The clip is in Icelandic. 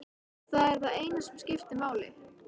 Það er það eina sem skiptir máli.